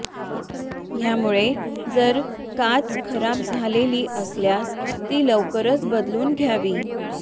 यामुळे जर काच खराब झालेली असल्यास ती लवकरच बदलून घ्यावी